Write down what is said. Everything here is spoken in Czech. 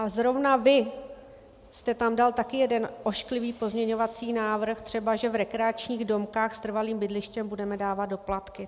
A zrovna vy jste tam dal taky jeden ošklivý pozměňovací návrh, třeba že v rekreačních domcích s trvalým bydlištěm budeme dávat doplatky.